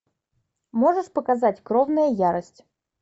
можешь показать кровная ярость